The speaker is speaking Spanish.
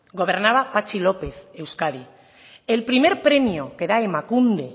gobernaba patxi lópez euskadi el primer premio que da emakunde